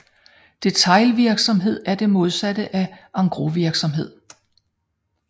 Detailvirksomhed er det modsatte af en engrosvirksomhed